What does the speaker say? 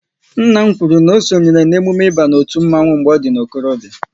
Nna m kwụrụ na sonyere n'emume ịba otu mmanwu mgbe ọ dị n'okorobia